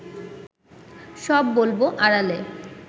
সব বলব আড়ালে